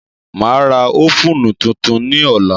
Màá ra ófùnù tuntun ní ọ̀la